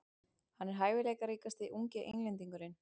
Hann er hæfileikaríkasti ungi Englendingurinn.